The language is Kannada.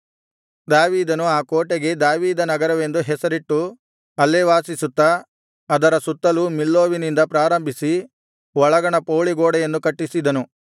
ದಾವೀದನು ಆ ಕೋಟೆಗೆ ದಾವೀದ ನಗರವೆಂದು ಹೆಸರಿಟ್ಟು ಅಲ್ಲೇ ವಾಸಿಸುತ್ತಾ ಅದರ ಸುತ್ತಲೂ ಮಿಲ್ಲೋವಿನಿಂದ ಪ್ರಾರಂಭಿಸಿ ಒಳಗಣ ಪೌಳಿಗೋಡೆಯನ್ನು ಕಟ್ಟಿಸಿದನು